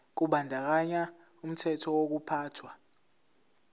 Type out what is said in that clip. kubandakanya umthetho wokuphathwa